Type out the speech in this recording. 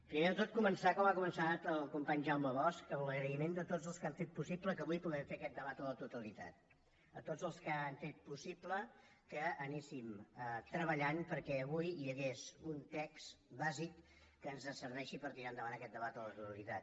primer de tot començar com ha començat el company jaume bosch amb l’agraïment a tots els que han fet possible que avui puguem fer aquest debat a la totalitat a tots els que han fet possible que anéssim treballant perquè avui hi hagués un text bàsic que ens serveixi per tirar endavant aquest debat a la totalitat